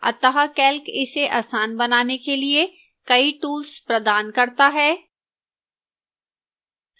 अतः calc इसे आसान बनाने के लिए कई tools प्रदान करता है